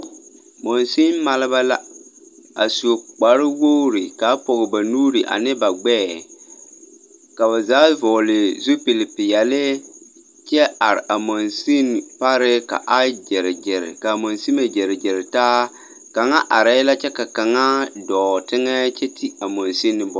Mansin maleba la, a su kpare wogiri ka a pͻge ba nuuri ane ba gbԑԑ ka ba zaa vͻgele zupili peԑle kyԑ are a mansini pare ka a gyere gyere ka a mansimo gyere gyere taa, kaŋa arԑԑ la kyԑ ka kaŋa dͻͻ teŋԑ kyԑ te a mansini bone.